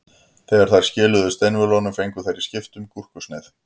Þegar þær skiluðu steinvölunum fengu þær í skiptum gúrkusneið.